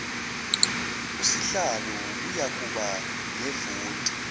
usihlalo uyakuba nevoti